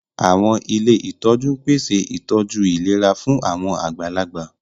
Àwọn ilé ìtọ́jú ń pèsè ìtọ́jú ìlera fún àwọn àgbàlagbà